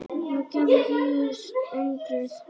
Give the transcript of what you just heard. Þá gerðist undrið.